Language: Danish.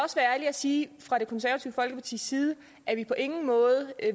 sige fra det konservative folkepartis side at vi på ingen måde